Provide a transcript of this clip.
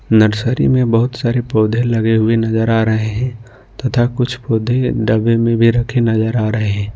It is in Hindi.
नर्सरी में बहुत सारे पौधे लगे हुए नजर आ रहे हैं तथा कुछ पौधे डब्बे में भी रखे नजर आ रहे हैं।